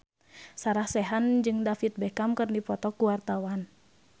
Sarah Sechan jeung David Beckham keur dipoto ku wartawan